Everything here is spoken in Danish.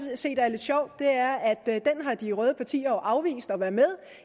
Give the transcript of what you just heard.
set er lidt sjovt er at de røde partier jo har afvist at være med